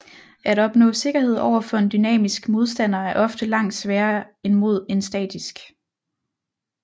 At opnå sikkerhed over for en dynamisk modstander er ofte langt sværere end mod en statisk